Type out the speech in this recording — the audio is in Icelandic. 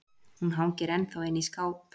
Hún hangir ennþá inni í skáp